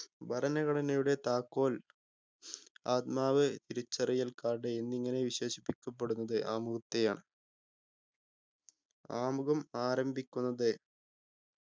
ഭരണഘടനയുടെ താക്കോൽ ആത്മാവ് തിരിച്ചറിയൽ card എന്നിങ്ങനെ വിശേഷിക്കപ്പെടുന്നത് ആമുഖത്തെയാണ് ആമുഖം ആരംഭിക്കുന്നത്